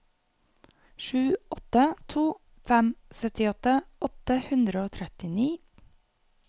sju åtte to fem syttiåtte åtte hundre og trettini